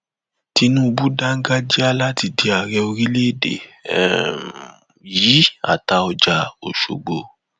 pdp yóò ṣètò ìdìbò abẹlé fúnpọ àárẹ nínú oṣù karùn